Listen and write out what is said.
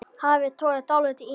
Hafið togar dálítið í mig.